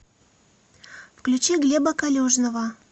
включи глеба калюжного